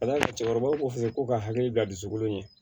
Ka d'a kan cɛkɔrɔba ko fɛn fɛn ko ka hakili bila dusukolo in ye